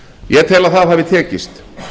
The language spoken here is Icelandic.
ég tel að það hafi tekist